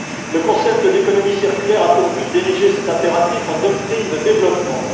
Le concept d'économie circulaire a pour but d'ériger cet impératif en doctrine de développement.